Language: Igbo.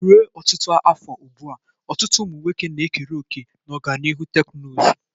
Ruo ọtụtụ afọ ugbu a, ọtụtụ ụmụ nwoke na-ekere òkè na ọganihu teknụzụ.